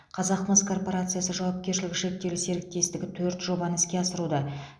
қазақмыс корпорациясы жауапкершілігі шектеулі серіктестігі төрт жобаны іске асыруда